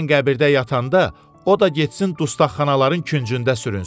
Mən qəbirdə yatanda, o da getsin dustaqxanaların küncündə sürünsün.